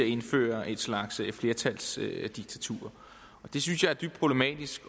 at indføre en slags flertalsdiktatur og det synes jeg er dybt problematisk